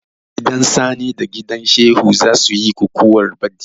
Gidan sani da gidan Shehu za suyi kukuwa baɗi